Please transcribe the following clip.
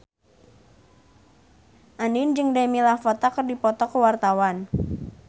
Andien jeung Demi Lovato keur dipoto ku wartawan